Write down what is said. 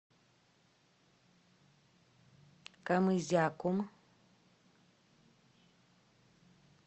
камызяком